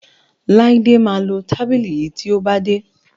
Laide má lọ tábìlì yí tíó bá dé.